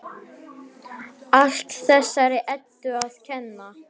Allt þessari Eddu að kenna!